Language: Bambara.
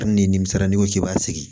ni nimisara n'i ko k'i b'a sigi